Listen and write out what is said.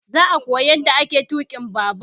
Zai koya yanda ake tuƙin babur